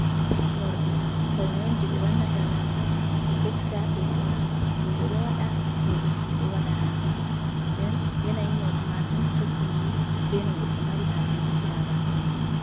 Morɗi pawne on jei ɓe wannata gaasa ɓe fecca ɓe moora, rooɓe ɗo waɗa worɓe fu ɗo waɗa ha feere den yanayi morɗi maajum tokkiniri be no goɗɗo mari haaje wurtina gasaa mako.